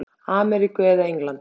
Ameríku eða Englands.